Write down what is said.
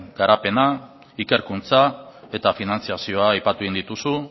garapena ikerkuntza eta finantzazioa aipatu egin dituzu